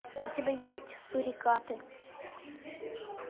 у тебя есть сурикаты